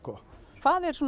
hvað er svona